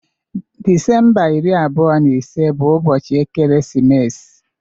Disemba iri abụọ na ise bụ ụbọchị ekeresimesi.